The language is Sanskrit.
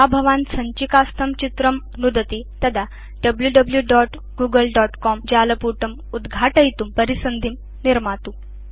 यदा भवान् सञ्चिकास्थं चित्रं नुदति तदा wwwgooglecomजालपुटम् उद्घाटयितुं परिसन्धिं निर्मातु